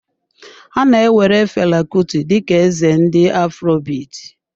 A na-ewere Fela Kuti dị ka eze ndị afrobit.